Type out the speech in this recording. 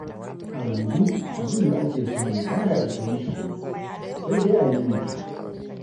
A yanzu abin da ake samu ba ya isar mutane, sai dai a ririta.